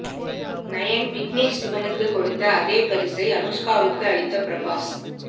nine Vignesh சிவனுக்கு கொடுத்த அதே பரிசை அனுஷ்காவுக்கு அளித்த பிரபாஸ்